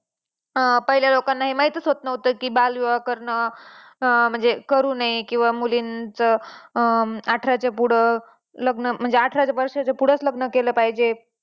अं पहिल्या लोकांना हे महितच होत नव्हतं की बाल विवाह करणं अं म्हणजे करू नये किंवा मुलींच अं अठरा च्या पुढं लग्न म्हणजे अठरा वर्षाच्या पुढंच लग्न केलं पाहिजे